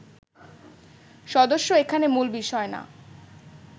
সদস্য এখানে মূল বিষয় না